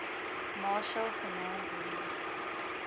machel vanaand hier